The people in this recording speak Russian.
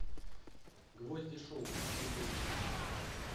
гвозди шоу ютуб